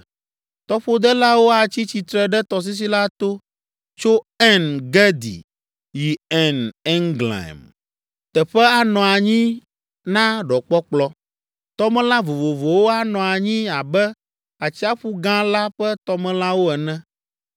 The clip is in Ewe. Tɔƒodelawo atsi tsitre ɖe tɔsisi la to, tso En Gedi yi En Eglaim, teƒe anɔ anyi na ɖɔkpɔkplɔ. Tɔmelã vovovowo anɔ anyi abe Atsiaƒu Gã la ƒe tɔmelãwo ene.